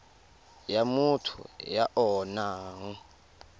ya motho ya o nang